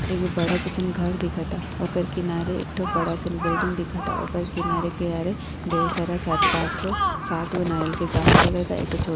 एगो बड़ा जइसन घर दिखता। ओकर किनारे एठो बड़ासन बिल्डिंग दिखता। ओकर किनारे-किनारे ढ़ेर सारा चार पाँच गो सात गो नारियल के गाछ लगल बा। एक ठो छो --